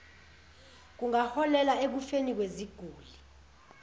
kungaholela ekufeni kweziguli